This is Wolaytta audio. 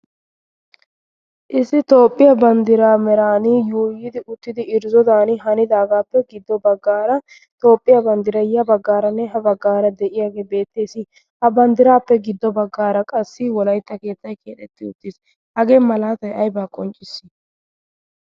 issi toophphiyaa banddiraa meraan yuuyidi uttidi irzzodan hanidaagaappe giddo baggaara toophphiyaa banddirayiya baggaaranne ha baggaara de'iyaagee beettees. a banddiraappe giddo baggaara qassi wolaitxa keettai kiatetti uttiis hagee malaatay aybaa qonccisii?